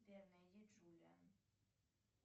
сбер найди джулиан